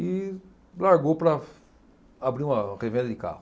E largou para abrir uma revenda de carro.